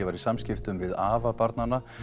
var í samskiptum við afa barnanna